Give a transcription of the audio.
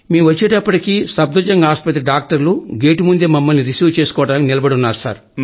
మేము వచ్చేటప్పటికే సప్థర్ జంగ్ ఆస్పత్రి డాక్టర్లు గేటుముందే మమ్మల్ని రిసీవ్ చేసుకోవడానికి నిలబడి ఉన్నారు